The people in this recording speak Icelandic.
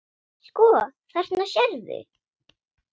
Sko, þarna sérðu.